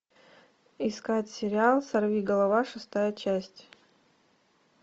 искать сериал сорвиголова шестая часть